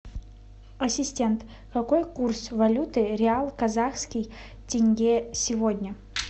ассистент какой курс валюты реал казахский тенге сегодня